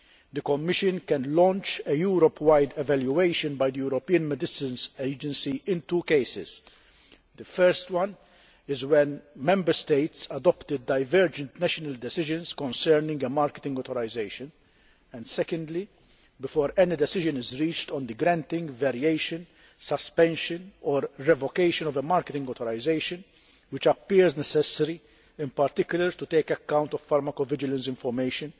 The Commission can launch a Europe wide evaluation by the European Medicines Agency in two cases firstly, when Member States adopt divergent national decisions concerning a marketing authorisation and, secondly, before any decision is reached on the granting, variation, suspension or revocation of a marketing authorisation that appears necessary, in particular, when taking account of pharmacovigilance information